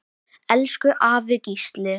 Elsku afi Gísli.